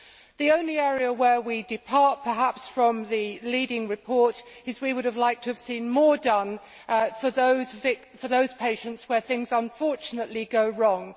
The only area where we depart, perhaps, from the leading report is that we would have liked to have seen more done for those patients where things unfortunately go wrong.